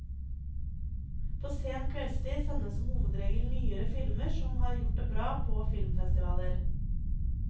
På sen kveldstid sendes som hovedregel nyere filmer som har gjort det bra på filmfestivaler.